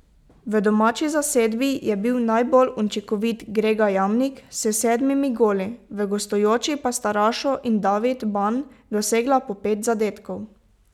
V domači zasedbi je bil najbolj učinkovit Grega Jamnik s sedmimi goli, v gostujoči pa sta Rašo in David Ban dosegla po pet zadetkov.